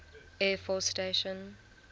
air force station